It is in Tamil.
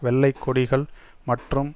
வெள்ளை கொடிகள் மற்றும்